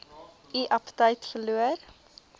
u aptyt verloor